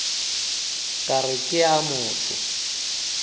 ka re ke a motho